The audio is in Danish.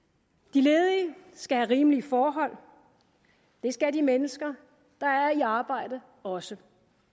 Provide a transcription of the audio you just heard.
de ledige skal have rimelige forhold det skal de mennesker der er i arbejde også